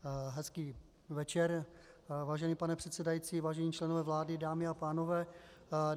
Hezký večer, vážený pane předsedající, vážení členové vlády, dámy a pánové.